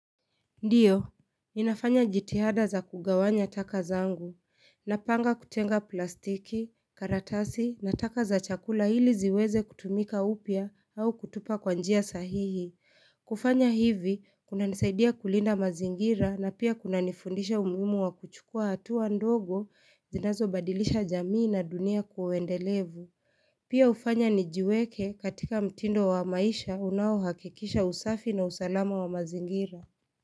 Ndio, ninafanya jitihada za kugawanya taka zangu, napanga kutenga plastiki, karatasi, na taka za chakula ili ziweze kutumika upya au kutupa kwa njia sahihi. Kufanya hivi, kunanisaidia kulinda mazingira na pia kunanifundisha umuhimu wa kuchukua hatua ndogo, zinazobadilisha jamii na dunia kwa uendelevu. Pia hufanya nijiweke katika mtindo wa maisha unaohakikisha usafi na usalama wa mazingira.